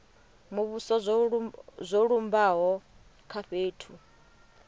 muvhuso zwo lumbaho kha fhethu